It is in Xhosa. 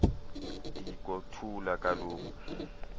diko thula kaloku